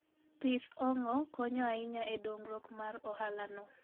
Pith ong'o konyo ahinya e dongruok mar ohalano.